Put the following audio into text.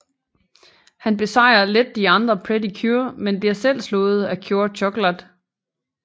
Han besejrer let de andre Pretty Cure men bliver selv slået af Cure Chokolat